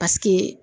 Paseke